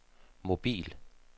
mobil